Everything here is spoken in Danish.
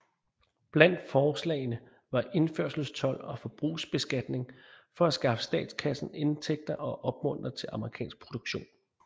Blandt forslagene var indførselstold og forbrugsbeskatning for at skaffe statskassen indtægter og opmuntre til amerikansk produktion